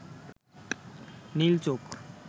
নীল চোখ